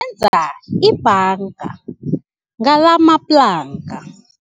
enza ibhanga ngalamaplanka.